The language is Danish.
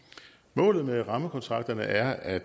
målet med rammekontrakterne er at